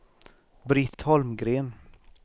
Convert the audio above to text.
Britt Holmgren